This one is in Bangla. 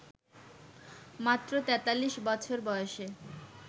মাত্র ৪৩ বছর বয়সে